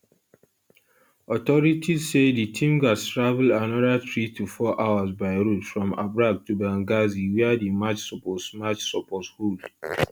authorities say di team gatz travel anoda three to four hours by road from abraq to banghazi wia di match suppose match suppose hold